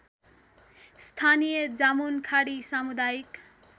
स्थानीय जामुनखाडी सामुदायिक